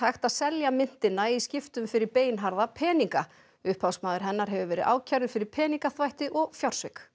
selt myntina í skiptum fyrir beinharða peninga upphafsmaður hennar hefur verið ákærður fyrir peningaþvætti og fjársvik